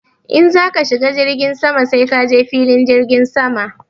In za ka shiga jirgin sama sai ka je filin jirgin sama.